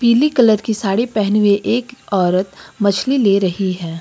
पीली कलर की साड़ी पहनी हुई एक औरत मछली ले रही है।